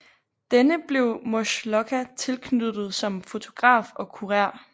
Denne blev Maslocha tilknyttet som fotograf og kurer